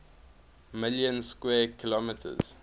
million square kilometers